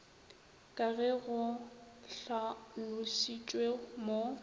ka ge go hlalošitšwe mo